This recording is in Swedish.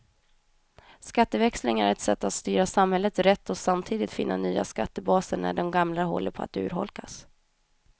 Skatteväxling är ett sätt att styra samhället rätt och samtidigt finna nya skattebaser när de gamla håller på att urholkas.